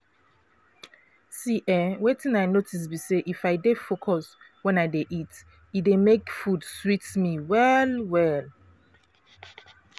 see eh wetin i notice be say if i dey focus when i dey eat e dey make food sweet me well-well.